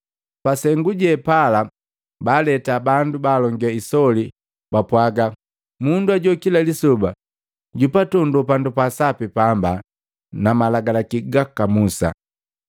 Pa sengu jepala baaleta bandu balonge isoli babapwagaa, “Mundu hajoo kila lisoba jupatondoo pandu pa sapi paamba na Malagalaki gaka Musa.